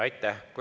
Aitäh!